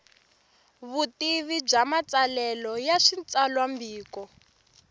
vutivi bya matsalelo ya switsalwambiko